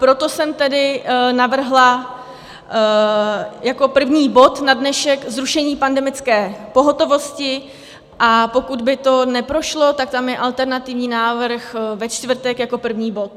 Proto jsem tedy navrhla jako první bod na dnešek zrušení pandemické pohotovosti, a pokud by to neprošlo, tak tam je alternativní návrh ve čtvrtek jako první bod.